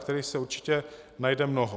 Kterých se určitě najde mnoho.